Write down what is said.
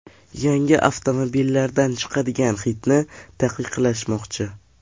Yangi avtomobillardan chiqadigan hidni taqiqlashmoqchi.